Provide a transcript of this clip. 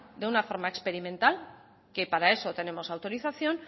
de una forma experimental que para eso tenemos autorización